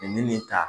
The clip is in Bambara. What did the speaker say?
Nin ta